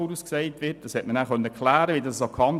Die weitere Betreibung wird auf 40 Jahre vorhergesagt.